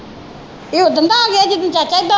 ਇਹ ਓਦਣ ਦਾ ਆਗਿਆ ਜਿਦਣ ਚਾਚਾ ਇਹਦਾ